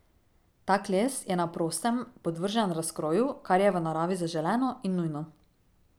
Tak les je na prostem podvržen razkroju, kar je v naravi zaželeno in nujno.